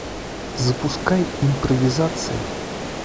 запускай импровизация